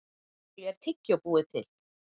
Úr hverju er tyggjó búið til?